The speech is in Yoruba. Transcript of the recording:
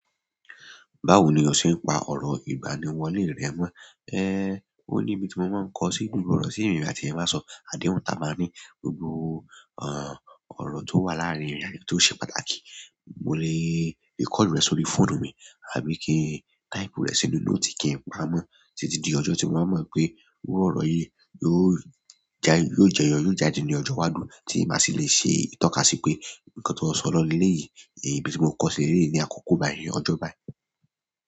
Báwo ni o ṣe ń pa ọ̀rọ̀ ìgbaniwọlé rẹ mọ? Ẹ, ó ní ibi tí mo máa ń kọ sí inú ọ̀rọ̀ sí ẹ̀mí láti ẹ máa sọ, àdéhùn ta máa ní gbogbo, àh, ọ̀rọ̀ tó wà láàárín ìrẹ̀lẹ̀ tó ṣe pàtàkì. Mo le record rẹ̀ sórí fóònù mi àbí kí n type rẹ̀ sínú note kí n pá mọ, títí di ọjọ́ tí mo máa mọ pé iru ọ̀rọ̀ yìí yóò jẹyọ yóò jáde ní ọjọ́ iwájú tí màá sì le ṣe ìtọ́kasí pé nǹkan tó sọ lọ léyìí, èyí ibi tí mo kọ́ sí eleyìí ni àkókò baí ni ọjọ́ bai.